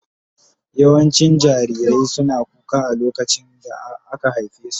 Yawancin jarirai suna kuka a lokacin da aka haife su.